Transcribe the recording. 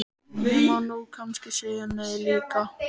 Ég má nú kannski segja nei líka.